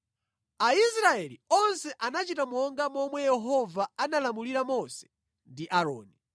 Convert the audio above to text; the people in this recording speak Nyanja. “Aisraeli onse anachita monga momwe Yehova analamulira Mose ndi Aaroni.